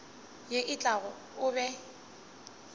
ye e tlago o be